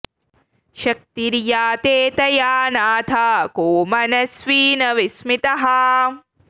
शक्तिर्या ते तया नाथ को मनस्वी न विस्मितः